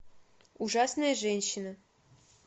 ужасная женщина